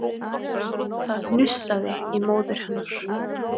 Það hnussaði í móður hennar